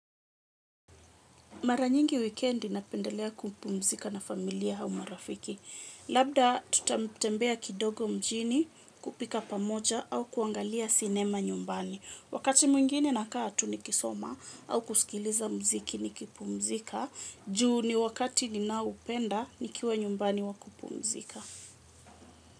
Mara nyingi wikendi napendelea kupumzika na familia au marafiki. Labda tutambea kidogo mjini kupika pamoja au kuangalia sinema nyumbani. Wakati mwingine nakaa tu nikisoma au kusikiliza muziki nikipumzika. Juu ni wakati ninaoupenda nikiwa nyumbani wa kupumzika.